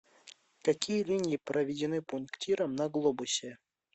какие линии проведены пунктиром на глобусе